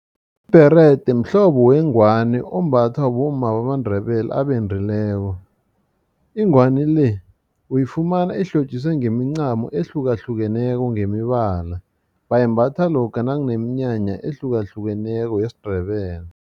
Ibherede mhlobo wengwani ombathwa bomma bamaNdebele abendileko. Ingwani le uyifumana ihlotjiswe ngemincamo ehlukahlukeneko ngemibala bayimbatha lokha nakuneminyanya ehlukahlukeneko yesiNdebele.